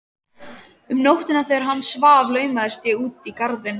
Um nóttina þegar hann svaf laumaðist ég út í garðinn.